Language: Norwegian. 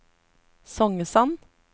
Songesand